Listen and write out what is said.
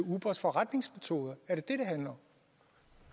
ubers forretningsmetoder